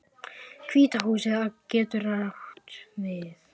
Hvíta húsið getur átt við